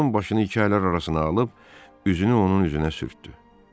Onun başını iki əlləri arasına alıb üzünü onun üzünə sürtdü.